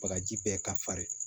Bagaji bɛɛ ka farin